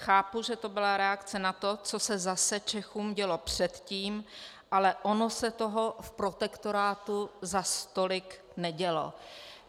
Chápu, že to byla reakce na to, co se zase Čechům dělo předtím, ale ono se toho v protektorátu zas tolik nedělo."